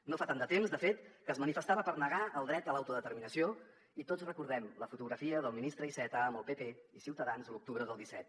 no fa tant de temps de fet que es manifestava per negar el dret a l’autodeterminació i tots recordem la fotografia del ministre iceta amb el pp i ciutadans l’octubre del disset